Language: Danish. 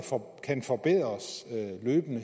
kan forbedres